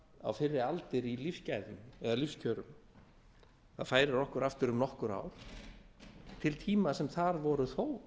á fyrri aldir í lífsgæðum eða lífskjörum það færir okkur aftur um nokkur ár til þeirra tíma sem þar voru þó